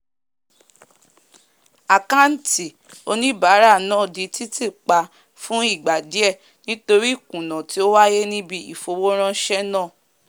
àkáàntì oníbàárà náà di títì pa fún ìgbà díẹ̀ nítorí ìkùnà tí ó wáyé níbi ìfowóránsẹ́ náà